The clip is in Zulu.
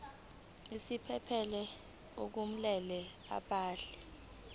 isiphephelo kumele abhale